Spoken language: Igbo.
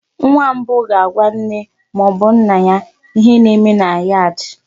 Nwa mbụ ga-agwa nne ma ọ bụ nna ya ihe na-eme na yad.